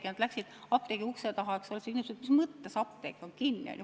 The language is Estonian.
Ja nad läksid apteegi ukse taha, ja küsisid, et mis mõttes apteek on kinni.